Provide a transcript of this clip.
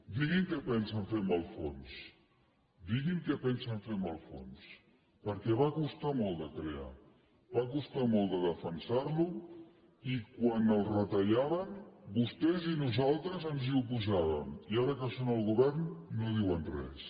diguin què pensen fer amb el fons diguin què pensen fer amb els fons per·què va costar molt de crear va costar molt de de fensar·lo i quan el retallaven vostès i nosaltres ens hi oposà·vem i ara que són al govern no diuen res